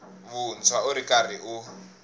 vuntshwa u ri karhi u